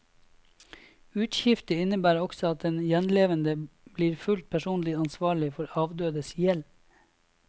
Uskifte innebærer også at den gjenlevende blir fullt personlig ansvarlig for avdødes gjeld.